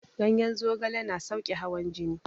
Ganyen zogale yana sauƙe hawan jini